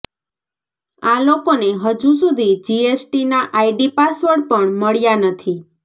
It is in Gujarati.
આ લોકોને હજુ સુધી જીએસટીના આઈડી પાસવર્ડ પણ મળ્યા નથી